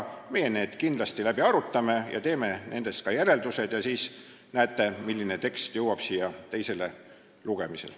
Me arutame need kindlasti läbi, teeme oma järeldused ja siis näete, milline tekst jõuab siia teisele lugemisele.